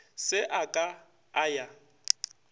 se a ka a ya